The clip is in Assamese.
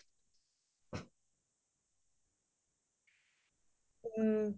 ক্'বয়ে নালাগে আৰু